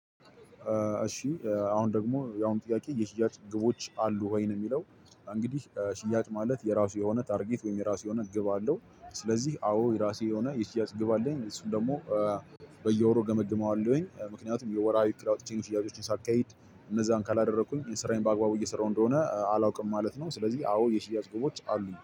እሺ አሁን ደግሞ የአሁን ጥያቄ የሽያጭ ግቦች አሉህ? ነው ወይ የሚለው እንግዲህ ሽያጭ ማለት የራሱ የሆነ ታርጌት ወይንም የራሱ የሆነ ግብ አለው። ስለዚህ አዎ የራሴ የሆነ የሽያጭ ግብ አለኝ። እሱም ደግሞ በየወሩ እገመግመዋለሁኝ ምክንያቱም የወራዊ እቅድ አውጥቼ ሽያጮችን ሳካሄድ እነዛን ካላደረኩኝ ስራዬን በአግባቡ እየሰራሁ እንደሆነ አላውቅም ማለት ነው ስለዚህ አዎ የሽያጭ ግቦች አሉኝ